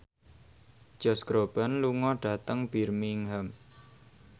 Josh Groban lunga dhateng Birmingham